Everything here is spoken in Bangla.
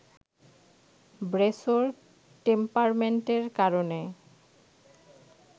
ব্রেসোর টেম্পারমেন্টের কারণে